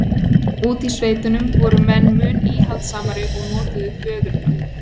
Úti í sveitunum voru menn mun íhaldssamari og notuðu föðurnöfn.